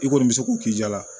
I kɔni bɛ se k'o k'i jala